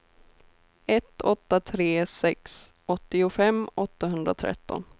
ett åtta tre sex åttiofem åttahundratretton